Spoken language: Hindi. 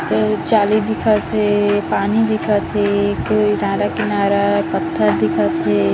एक जाली दिखत हे पानी दिखत हे के किनारा-किनारा पत्थर दिखत हे।